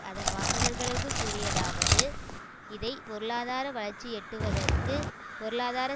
அதன் வாசகர்களுக்கு கூறியதாவது இதை பொருளாதார வளர்ச்சி எட்டுவதற்கு பொருளாதார